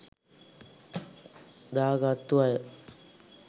දා ගත්තු අය.